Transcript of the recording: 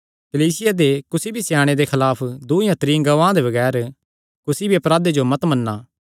कलीसिया दे कुसी भी स्याणे दे खलाफ दूँ या त्रीं गवाहां दे बगैर कुसी भी अपराधे जो मत मन्ना